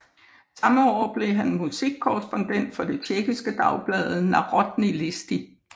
Samme år blev han musikkorrespondent for det tjekkiske dagblad Národní listy